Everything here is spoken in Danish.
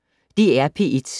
DR P1